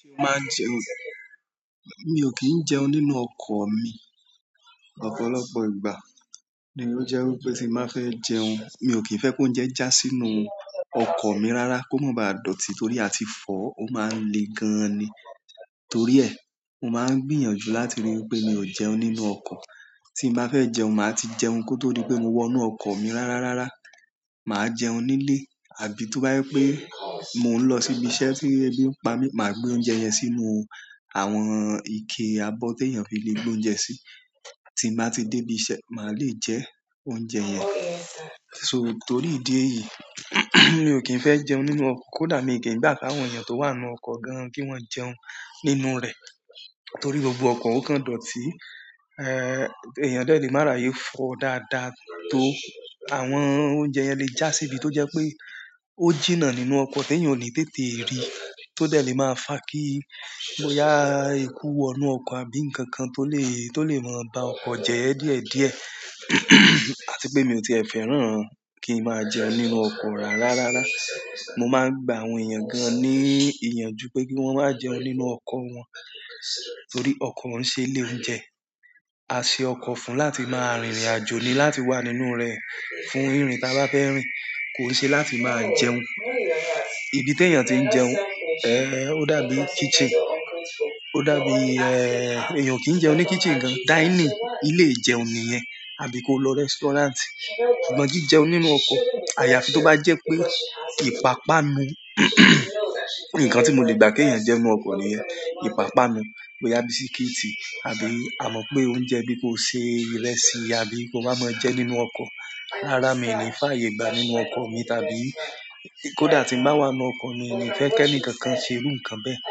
Ṣé o máa ń jẹun? Mi ò kí ń jẹun nínú ọkọ̀ mi. Ọ̀pọ̀lọpọ̀ ìgbà ni ó jẹ́ wí pé tí màá fẹ́ jẹun, mi ò kí ń fẹ́ pé oúnjẹ já sínú ọkọ̀ mi rárá kó má baà dọ̀tí torí àti fọ̀ ọ máa ń le gan ni. Torí ẹ, mo máa ń gbìyànjú láti rí pé mi ò jẹun nínú ọkọ̀. Tí n bàá fẹ́ jẹun, màá ti jẹun kó tó dí pé mo wọ inú ọkọ̀ mi rárá rárá. Màá jẹun nílé àbí tó bá jẹ pé mo ń lọ síbi iṣẹ́ tí ebí ń pa mí, màá gbé oúnjẹ yẹn sínú àwọn ike abọ́ tí èèyàn fi lè gbé oúnjẹ sí. Tí màá ti dé ibi iṣẹ́, màá lè jẹ oúnjẹ yẹn. So t'ori ìdí èyí, mío kìí fẹ jẹun nínú ọkọ, ko dá mi o kìí gba kí àwọn èèyàn to wà nínú ọkọ gán ki wọn jẹun nínú rẹ. Torí gbogbo ọkọ̀ ò kan dọ̀tí. Eh, èèyàn dẹ lè má rayé fọ̀ dáadáa tó. Àwọn oúnjẹ yẹn lè já síbi tó jẹ́ pé ó jìnnà nínú ọkọ̀ tí èèyàn ò ní tètè rí tó dé lè máa fà kí boyá èkú wọnú ọkọ̀ àbí nǹkan kan tó lè, tó lè máa bá ọkọ̀ jẹyẹ díẹ̀díẹ̀. Àti pé mi ò tiẹ̀ fẹ́ràn kí ń máa jẹun nínú ọkọ̀ rárá rárá. Mo máa ń gbà àwọn èèyàn gan ní ìyànjú pé kí wọ́n má jẹun nínú ọkọ̀ wọn torí ọkọ̀ ń ṣe ilé oúnjẹ. A ṣe ọkọ̀ fún láti máa rìnrìn àjò ni, láti wà nínú rẹ̀ fún ìrìn tí a bá fẹ́ rìn. Kò ṣe láti máa jẹun. Ibi tí èèyàn ti ń jẹun, eh, ó dàbí kitchen. Ó dàbí, eh, èèyàn kìí jẹun ní kitchen gan. Dining, ilé ìjẹun nìyẹn. Àbí ko lọ restaurant? Ṣùgbọ́n kí jẹun nínú ọkọ̀. Àyàfi tó bá jẹ́ pé ìpapánu. Nkán ti mó lè gbà ki èèyàn jẹ nínú ọkọ nìyẹn, ipapanu boyá bísíkìtì àbí a mọ̀ pé oúnjẹ bí ko ṣe ìrẹsì àbí ko wá mọ ẹ jẹ nínú ọkọ̀. Rárá, mi ò ní fàyè gbà nínú ọkọ̀ mi tàbí kódà tí ń bá wà nínú ọkọ̀ ni, mi ò ní fẹ́ kí ǹkan kan ṣe irú nǹkan bẹ́ẹ̀.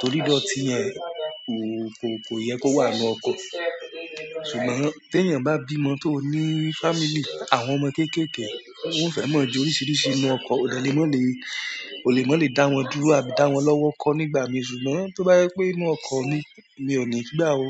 Torí ìdọ̀tí yẹn kò, kò yẹ kó wà nínú ọkọ̀. Ṣùgbọ́n tí èèyàn bá bímọ tó ní family, àwọn ọmọ kéékèèké, wọ́n fẹ́ mọ̀ ju oríṣiríṣi inú ọkọ̀, òdẹ lé mọ́ ni, o lè mọ́ lè dá wọn dúró àbí dá wọn lọ́wọ́ kọ́ nígbà mìí. Ṣùgbọ́n tó bá yẹ pé inú ọkọ̀ ni, mi ò ní gbà ó.